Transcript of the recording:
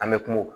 An bɛ kuma o kan